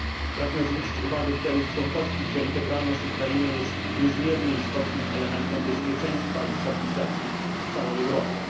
Pragnę zwrócić uwagę państw członkowskich na fakt, że integralność Ukrainy jest niezmiernie istotnym elementem bezpieczeństwa i stabilizacji w całej Europie.